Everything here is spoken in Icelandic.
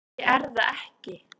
Ég er það ekki.